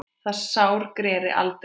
Það sár greri aldrei.